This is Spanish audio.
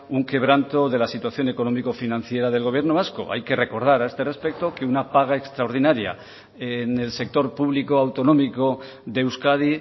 un quebranto de la situación económico financiera del gobierno vasco hay que recordar a este respecto que una paga extraordinaria en el sector público autonómico de euskadi